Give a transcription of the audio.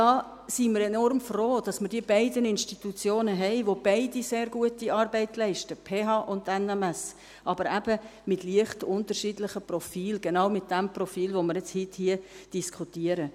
Hier sind wir enorm froh, dass wir die beiden Institutionen haben, die beide sehr gute Arbeit leisten: die PH und die NMS, aber eben mit leicht unterschiedlichen Profilen, genau mit jenem Profil, das wir jetzt heute hier diskutieren.